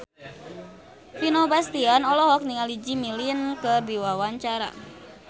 Vino Bastian olohok ningali Jimmy Lin keur diwawancara